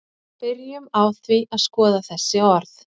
byrjum á því að skoða þessi orð